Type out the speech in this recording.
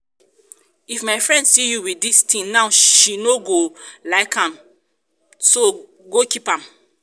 if my friend see you with dis thing now she no go um like am so go keep am